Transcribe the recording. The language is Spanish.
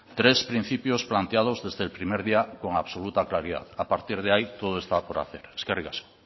tres principios planteados desde el primer día con absoluta claridad a partir de ahí todo está por hacer eskerrik asko